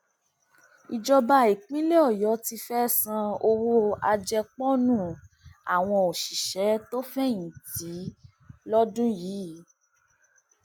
ìjọba ìpínlẹ ọyọ ti fẹẹ san owó àjẹpọnú àwọn òṣìṣẹ tó fẹyìntì lọdún yìí